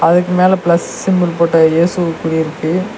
அதுக்கு மேல plus symbol போட்ட இயேசு குறி இருக்கு.